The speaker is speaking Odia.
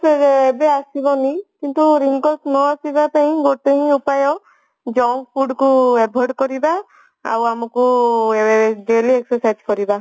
ସେ ଏବେ ଆସିବନି କିନ୍ତୁ wrinkles ନ ଆସିବା ପାଇଁ ଗୋଟେ ହିଁ ଉପାୟ junk food କୁ avoid କରିବା ଆଉ ଆମକୁ ଏଁ daily exercise କରିବା